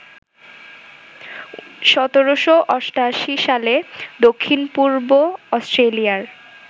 ১৭৮৮ সালে দক্ষিণপূর্ব অস্ট্রেলিয়ার